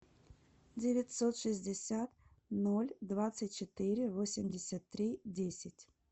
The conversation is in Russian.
девятьсот шестьдесят ноль двадцать четыре восемьдесят три десять